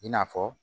I n'a fɔ